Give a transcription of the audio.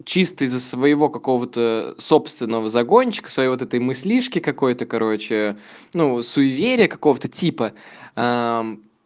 чисто из-за своего какого-то ээ собственного загонщик с вот этой мыслишки какое-то короче ну суеверия какого-то типа аа